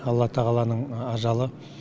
алла тағаланың ажалы